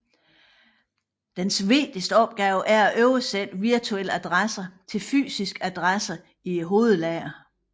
Dens vigtigste opgave er at oversætte virtuelle adresser til fysiske adresser i hovedlageret